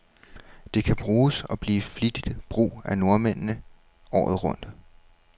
Det kan bruges, og bliver flittigt brug af nordmændene, året rundt.